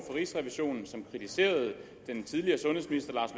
rigsrevisionen som kritiserede den tidligere sundhedsminister lars